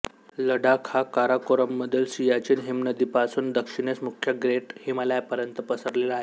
लडाख हा काराकोरममधील सियाचीन हिमनदीपासून दक्षिणेस मुख्य ग्रेट हिमालयापर्यंत पसरलेला आहे